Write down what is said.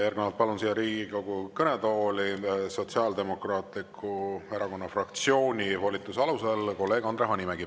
Järgnevalt palun siia Riigikogu kõnetooli Sotsiaaldemokraatliku Erakonna fraktsiooni volituse alusel kolleeg Andre Hanimägi.